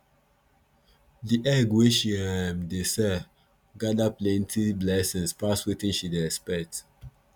the egg wey she um dey sell gather plenty blessings pass wetin she dey expect